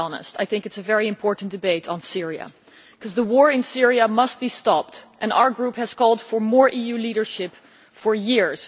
I think it is a very important debate on Syria because the war in Syria must be stopped and our Group has been calling for more EU leadership for years.